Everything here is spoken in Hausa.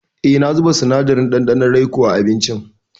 E, na zuba sinadarin ɗanɗanon raikoa abincin.